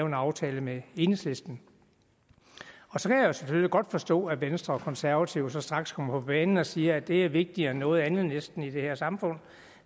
en aftale med enhedslisten og så kan jeg selvfølgelig godt forstå at venstre og konservative straks kommer på banen og siger at det er vigtigere end noget andet næsten i det her samfund